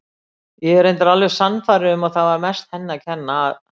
Ég er reyndar alveg sannfærður um að það var mest henni að kenna að